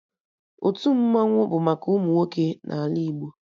Otu Mmannwụ bụ maka ụmụ nwoke n'ala Igbo